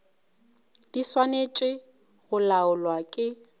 di swanetše go laolwa ke